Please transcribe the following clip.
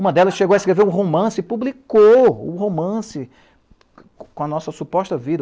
Uma delas chegou a escrever um romance e publicou o romance com a nossa suposta vida.